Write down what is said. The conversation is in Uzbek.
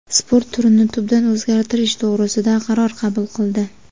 sport turini tubdan o‘zgartirish to‘g‘risida qaror qabul qildi.